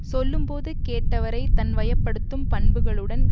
சொல்லும் போது கேட்டவரைத் தன் வயப்படுத்தும் பண்புகளுடன்